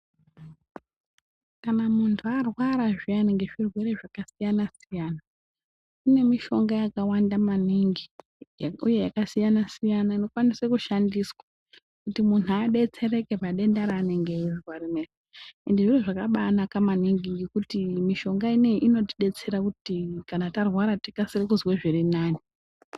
Kana muntu arwara zviyani nezvirwere zvakasiyana-siyana, kune mishonga yakawanda maningi, uye yakasiyana-siyana inokwanise kushandiswa kuti muntu abetsereke padenda raanenge eizwa irona. Ende zviro zvakabanaka maningi ngekuti mishonga inoiyi inotibetsera kuti kana tarwara tikasire kuzwe zvirinami.